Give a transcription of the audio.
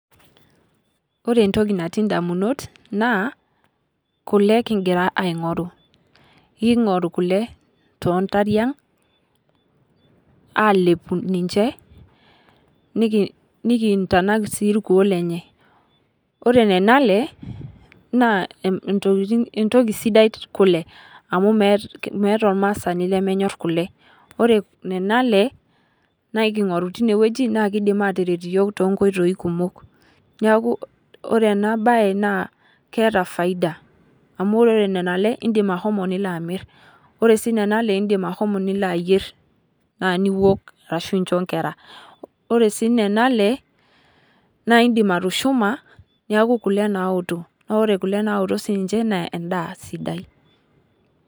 Ore entoki naati idamunot naa kule kigira aing'oru. Iking'oru kule too ntariang' alepu ninche nikintanak sii irkuo lenye. Ore nena ale naa entoki sidai kule, amuu meeta ormasaani lemenyorr kule. Ore nena ale naa iking'oru tineweji na kidim ataret iyiok tonkoitoi kumok. Neeku ore enabae naa keeta faida amuu ore nena ale idim ashomo nilo amir. Ore nena ale idim ashomo nilo ayier naa niok ashu incho inkera. Ore sii nena ale naa idim atushuma neeku kule naoto. Naa ore nena ale kule naoto sii ninche ma eda sidai.